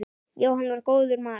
Jóhann var góður maður.